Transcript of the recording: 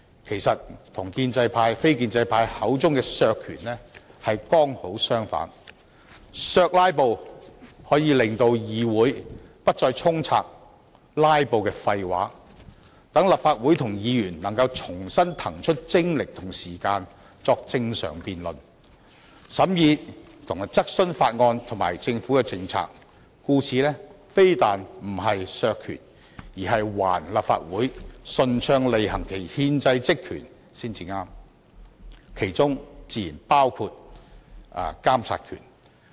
其實，與非建制派口中的削權剛好相反，"削'拉布'"可以令議會不再充斥"拉布"的廢話，讓立法會及議員能夠重新騰出精力及時間，正常辯論、審議及質詢法案及政府的政策，故此"削'拉布'"非但不是削權，更是還立法會順暢履行其憲制職權的權利才對，而其中自然包括監察權。